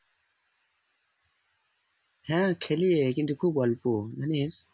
হ্যাঁ খেলি রে কিন্তু ও খুব অল্প মানে